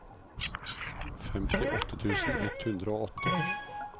femtiåtte tusen ett hundre og åtte